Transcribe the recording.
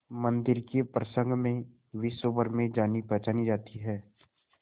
मंदिर के प्रसंग में विश्वभर में जानीपहचानी जाती है